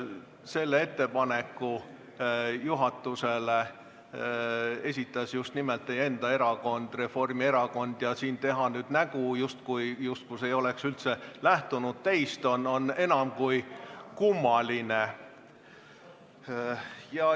Selle ettepaneku esitas juhatusele just nimelt teie enda erakond, Reformierakond, ja teha siin nüüd nägu, justkui poleks see üldse lähtunud teist, on enam kui kummaline.